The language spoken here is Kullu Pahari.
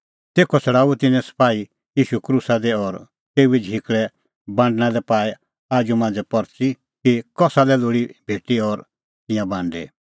तेखअ छ़ड़ाऊअ तिन्नैं सपाही ईशू क्रूसा दी और तेऊए झिकल़ै बांडणां लै पाई आप्पू मांझ़ै परच़ी कि कसा लै कै लोल़ी भेटअ और तिंयां बांडै